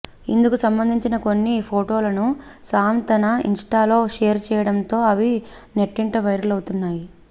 ఇందుకు సంబంధించి కొన్ని ఫోటోలను సామ్ తన ఇన్స్టాలో షేర్ చేయడంతో అవి నెట్టింట వైరల్ అవుతున్నాయి